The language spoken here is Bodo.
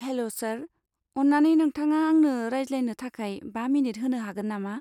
हेल' सार, अन्नानै नोंथाङा आंनो रायज्लायनो थाखाय बा मिनिट होनो हागोन नामा?